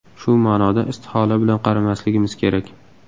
Shu ma’noda istihola bilan qaramasligimiz kerak.